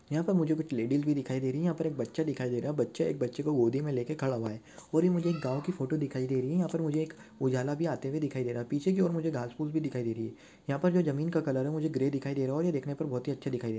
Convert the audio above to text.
यहाँ पर मुझे कुछ लेडिज भी दिखाई दे रही है यहाँ पर एक बच्चा दिखाई दे रहा है बच्चा एक बच्चे को गोदी मे लेके खड़ा हुआ है और ये एक गाँव की फोटो दिखाई दे रही है यहाँ पर ये मुझे एक उजाला भी आते हुए दिखाई दे रहा है पीछे की और मुझे घाँस पूस भी दिखाई दे रही है यहाँ पर जो जमीन का कलर है मुझे अ ग्रे दिखाई दे रहा है और ये देखने पर बहुत ही अच्छा दिखाई दे--